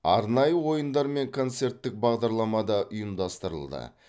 арнайы ойындар мен концерттік бағдарлама да ұйымдастырылды